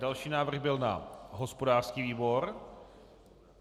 Další návrh byl na hospodářský výbor.